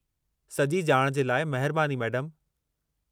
सॼी ॼाण जे लाइ महिरबानी मेडमु।